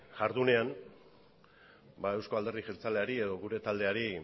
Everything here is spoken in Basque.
jardunean eusko alderdi jeltzaleari edo gure taldeari